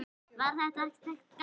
Var þetta ekki gaman?